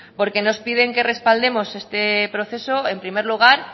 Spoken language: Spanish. porque nos piden que respaldemos este proceso en primer lugar